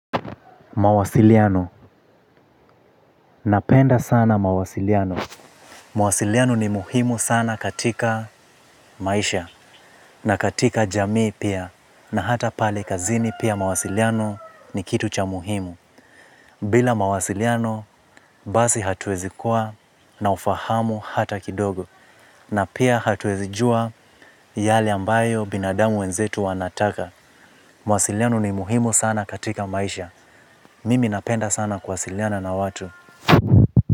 Mawasiliano, napenda sana mawasiliano. Mawasiliano ni muhimu sana katika maisha. Na katika jamii pia. Na hata pale kazini pia mawasiliano ni kitu cha muhimu. Bila mawasiliano basi hatuwezi kuwa na ufahamu hata kidogo. Na pia hatuwezi jua yale ambayo binadamu wenzetu wanataka. Mawasiliano ni muhimu sana katika maisha. Mimi napenda sana kuwasiliana na watu.